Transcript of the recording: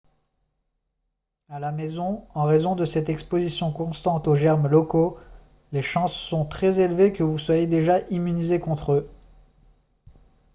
à la maison en raison de cette exposition constante aux germes locaux les chances sont très élevées que vous soyez déjà immunisé contre eux